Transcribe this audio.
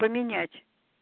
поменять